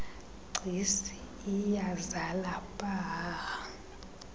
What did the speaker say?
gcis iyazala pahaha